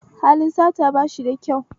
Halin sata bashi da kyau